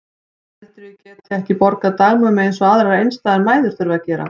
Heldurðu að ég geti ekki borgað dagmömmu eins og aðrar einstæðar mæður þurfa að gera?